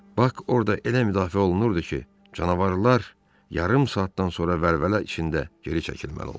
Bak orda elə müdafiə olunurdu ki, canavarlar yarım saatdan sonra vəlvələ içində geri çəkilməli oldular.